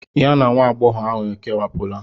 Ya na nwa agbọghọ ahụ ekewapụla.